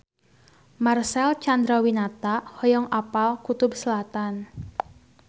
Marcel Chandrawinata hoyong apal Kutub Selatan